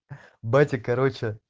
батя короче